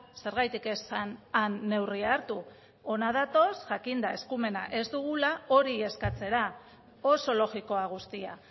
zergatik ez han neurria hartu hona datoz jakinda eskumena ez dugula hori eskatzera oso logikoa guztia